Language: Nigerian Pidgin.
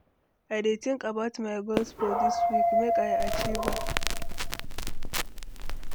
I dey think about my goals for dis week, make I achieve am.